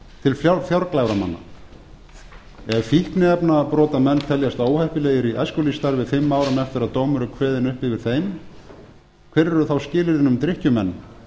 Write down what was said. til fjárglæframanna ef fíkniefnabrotamenn teljast óheppilegir í æskulýðsstarfi fimm árum eftir að dómur er kveðinn upp yfir þeim hver eru þá skilyrðin um drykkjumenn